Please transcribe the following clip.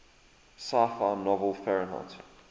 sci fi novel fahrenheit